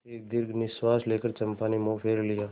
एक दीर्घ निश्वास लेकर चंपा ने मुँह फेर लिया